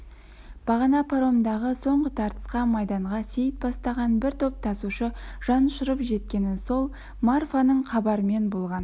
бағана паромдағы соңғы тартысқа майданға сейіт бастаған бір топ тасушы жан ұшырып жеткені сол марфаның хабарымен болған